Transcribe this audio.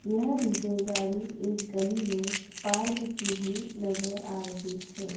यह डी_जे गाड़ी एक गली में पार्क की हुई नजर आ रही है।